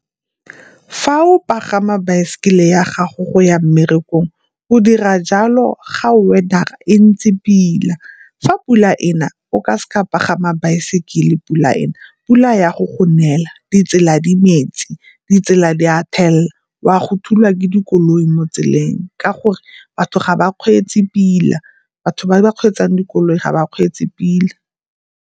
Fa o pagama baesekele ya gago go ya mmerekong o dira jalo ga weather e ntsi pila. Fa pula e na, o ka seka wa pagama baesekele pula e na pula e ya go go nelela di tsela di metsi, di tsela di a thelela, o a go thulwa ke dikoloi mo tseleng ka gore batho ga ba kgweetsi pila batho ba ba kgweetsang dikoloi ga ba kgweetsi pila.